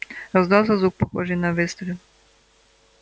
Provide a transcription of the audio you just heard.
раздался звук похожий на выстрел